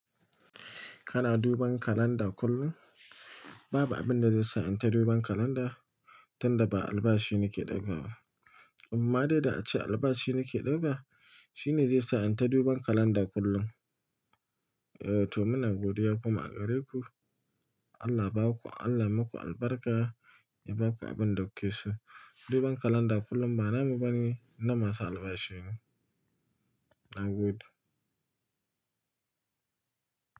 Kana duban kalanda kullum? Babu abun da zai sa in ta duban kalanda tun da ba albashi nake ɗiba ba. Amma dai da ace albashi nake ɗiba, shi ne zai sa in ta duban kalanda kullum. Eh to muna godiya kuma a gare ku, Allah ba ku, Allah maku albarka ya baku abin da kuke so. Duban kalanda kullum ba namu bane na masu albashi ne. Nagode.